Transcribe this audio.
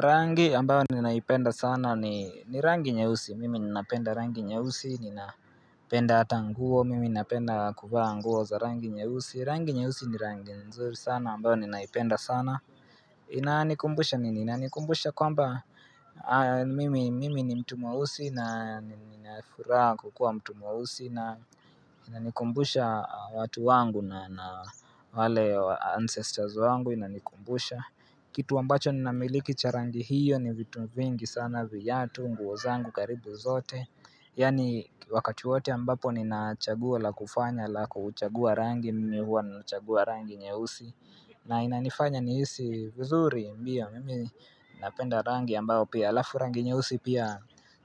Rangi ambao ninaipenda sana ni rangi nyeusi, mimi ninapenda rangi nyeusi, ninapenda ata nguo, mimi napenda kuvaa nguo za rangi nyeusi, rangi nyeusi ni rangi nzuri sana ambayo ninaipenda sana Inanikumbusha nini, inanikumbusha kwamba mimi ni mtu mweusi na nina furaha kukua mtu mweusi na inanikumbusha watu wangu na wale ancestors wangu inanikumbusha Kitu ambacho ninamiliki cha rangi hiyo ni vitu vingi sana viatu, nguo zangu karibu zote Yaani wakati wote ambapo nina chaguo la kufanya la kuchagua rangi, mimi huwa nachagua rangi nyeusi na inanifanya niisi uzuri mbio mimi napenda rangi ambayo pia alafu rangi nyeusi pia